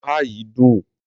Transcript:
oha yìí dùn.